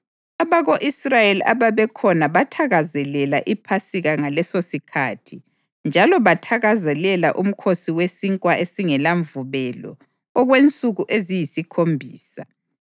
Abako-Israyeli ababekhona bathakazelela iPhasika ngalesosikhathi njalo bathakazelela uMkhosi weSinkwa esingelaMvubelo okwensuku eziyisikhombisa.